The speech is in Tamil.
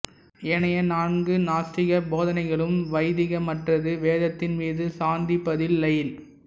ஏனைய நான்கு நாஸ்தீகப் போதனைகளும் வைதீகமற்றது வேதத்தின் மீது சார்ந்திப்பதில்லை